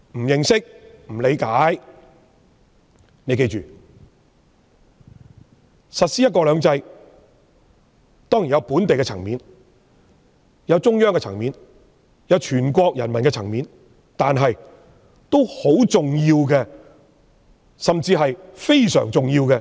要記住，實施"一國兩制"當然涉及本地及中央的層面；既涉及全國人民的意見，國際社會的看法亦非常重要。